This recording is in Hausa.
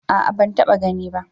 A'a ban taba gani ba